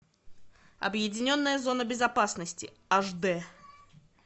объединенная зона безопасности аш дэ